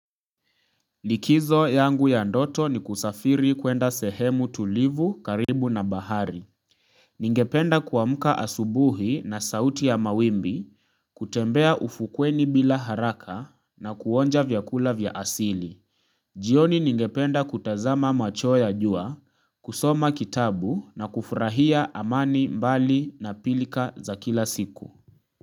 Likizo yangu ya ndoto ni kusafiri kuenda sehemu tulivu karibu na bahari ningependa kuamka asubuhi na sauti ya mawimbi kutembea ufukweni bila haraka na kuonja vyakula vya asili jioni ningependa kutazama machweo ya jua kusoma kitabu na kufurahia amani mbali na pilka za kila siku.